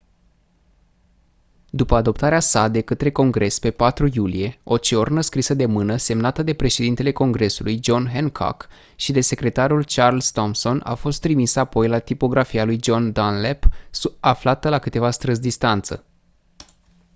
după adoptarea sa de către congres pe 4 iulie o ciornă scrisă de mână semnată de președintele congresului john hancock și de secretarul charles thomson a fost trimisă apoi la tipografia lui john dunlap aflată la câteva străzi distanță